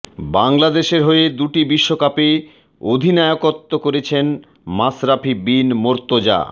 বাংলাদেশের হয়ে দুটি বিশ্বকাপে অধিনায়কত্ব করছেন মাশরাফী বিন মোর্ত্তজা